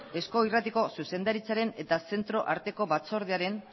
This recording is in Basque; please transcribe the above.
eusko irratiko zuzendaritzaren eta zentroarteko batzordearen